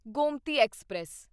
Gomti express